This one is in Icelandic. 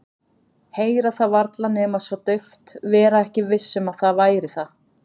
Heyra það varla nema svo dauft, vera ekki viss um að það væri það.